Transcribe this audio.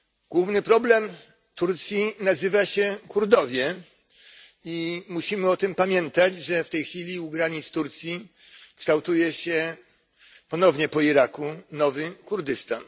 Główny problem Turcji nazywa się Kurdowie i musimy o tym pamiętać, że w tej chwili u granic Turcji kształtuje się ponownie po Iraku nowy Kurdystan.